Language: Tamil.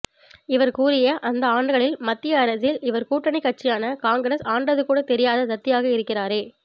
இவர் கூறிய அந்த ஆண்டுகளில் மத்தியில் இவர் கூட்டணி கட்சியான காங்கிரஸ் ஆண்டது கூட தெரியாத தத்தியாக இருக்கிறாரே